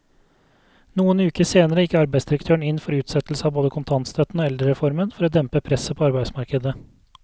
Noen uker senere gikk arbeidsdirektøren inn for utsettelse av både kontantstøtten og eldrereformen for å dempe presset på arbeidsmarkedet.